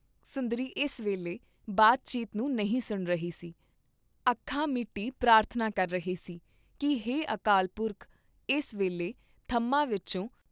ਸੁੰਦਰੀ ਇਸ ਵੇਲੇ ਬਾਤ ਚੀਤ ਨੂੰ ਨਹੀਂ ਸੁਣ ਰਹੀ ਸੀ, ਅੱਖਾਂ ਮੀਟੀ ਪ੍ਰਾਰਥਨਾ ਕਰ ਰਹੀ ਸੀ ਕੀ ' ਹੇ ਅਕਾਲ ਪੁਰਖ, ਇਸ ਵੇਲੇ ਥੰਮ੍ਹਾਂ ਵਿਚੋਂ